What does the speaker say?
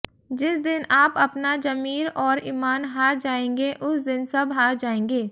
जिस दिन आप अपना जमीर और इमान हार जाएंगे उस दिन सब हार जाएंगे